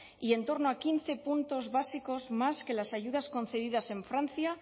y en torno a quince puntos básicos más que las ayudas concedidas en francia